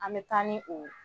An bɛ taa ni o